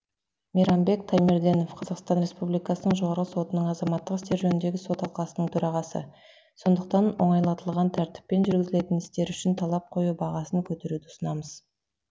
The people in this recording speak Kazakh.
мейрамбек таймерденов қазақстан республика жоғарғы сотының азаматтық істер жөніндегі сот алқасының төрағасы сондықтан оңайлатылған тәртіппен жүргізілетін істер үшін талап қою бағасын көтеруді ұсынамыз